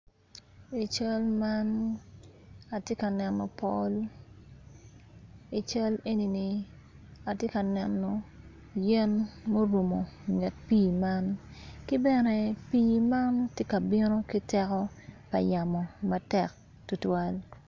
I cal man atye ka neno pol i cal enini atye ka neno yen ma orumo nget pii man ki bene pii man tye ka bino ki teko pa yamo matek tutwal.